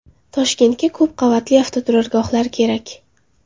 Toshkentga ko‘p qavatli avtoturargohlar kerak .